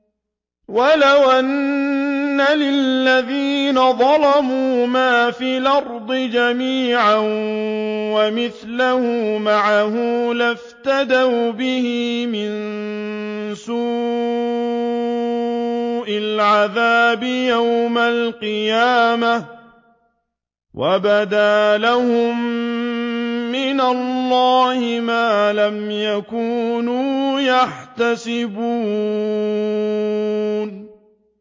وَلَوْ أَنَّ لِلَّذِينَ ظَلَمُوا مَا فِي الْأَرْضِ جَمِيعًا وَمِثْلَهُ مَعَهُ لَافْتَدَوْا بِهِ مِن سُوءِ الْعَذَابِ يَوْمَ الْقِيَامَةِ ۚ وَبَدَا لَهُم مِّنَ اللَّهِ مَا لَمْ يَكُونُوا يَحْتَسِبُونَ